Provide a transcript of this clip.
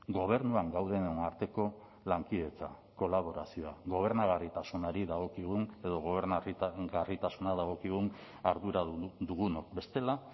gobernuan gaudenen arteko lankidetza kolaborazioa gobernagarritasunari dagokigun edo gobernagarritasuna dagokigun ardura dugunok bestela